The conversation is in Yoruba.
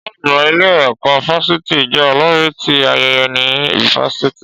Ọ̀gá àgbà ilé ẹ̀kọ́ fáfitì jẹ́ olórí ti ayẹyẹ ni fáfitì